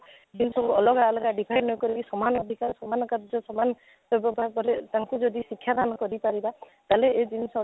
ତାକୁ ଅଲଗା ଅଲଗା define ନ କରି କି ସମାନ define ସମାନ କାର୍ଯ୍ୟ ସମାନ ବ୍ୟବସ୍ଥା କାଳ କଲେ ତାଙ୍କୁ ଯଦି ଶିକ୍ଷା ଦାନ କରି ପାରିବା ତାହେଲେ ଏ ଜିନିଷ ଟା